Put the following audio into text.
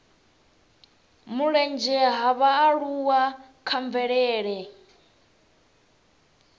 mulenzhe ha vhaaluwa kha mvelele